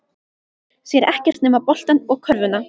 Sér ekkert nema boltann og körfuna.